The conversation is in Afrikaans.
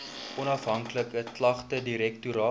onafhanklike klagtedirektoraat